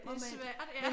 Det er svært ja